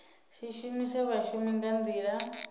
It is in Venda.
si shumise vhashumi nga nḓila